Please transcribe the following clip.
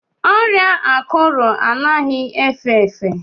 ọrịa akuru anaghị efe efe